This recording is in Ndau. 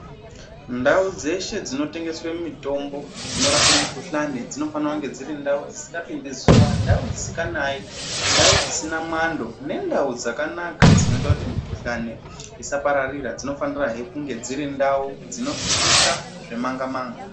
Ndau dzese dzinotengeswe mitombo inorape mikuhlane dzinofanira kunge dziri ndau dzisingapinde zuwa, ndawu dzisinganaye ,ndau dzisina mwando nendau dzakanaka dzinoita mukuhlane isapararira ,dzinofanira kunge dziri ndau dzinosvikika zvemanga manga